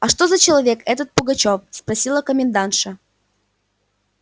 а что за человек этот пугачёв спросила комендантша